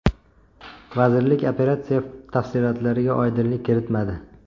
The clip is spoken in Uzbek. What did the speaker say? Vazirlik operatsiya tafsilotlariga oydinlik kiritmadi.